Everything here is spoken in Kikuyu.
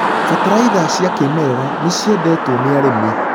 Bataraitha cia kĩmerera nĩciendetwo nĩ arĩmi.